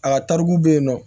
A ka tarikuw bɛ yen nɔ